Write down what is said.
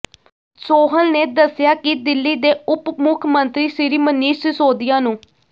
ਸੋਹਲ ਨੇ ਦੱਸਿਆ ਕਿ ਦਿੱਲੀ ਦੇ ਉੱਪ ਮੁੱਖ ਮੰਤਰੀ ਸ੍ਰੀ ਮਨੀਸ਼ ਸਿਸੋਦੀਆ ਨੂੰ